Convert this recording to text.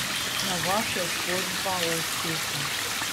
Navak je zgodba o uspehu.